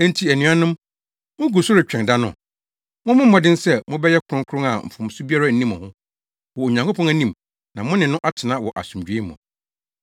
Enti anuanom, mugu so retwɛn da no, mommɔ mmɔden sɛ mobɛyɛ kronkron a mfomso biara nni mo ho wɔ Onyankopɔn anim na mo ne no atena wɔ asomdwoe mu.